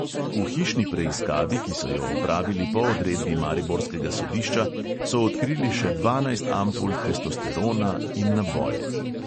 V hišni preiskavi, ki so jo opravili po odredbi mariborskega sodišča, so odkrili še dvanajst ampul testosterona in naboje.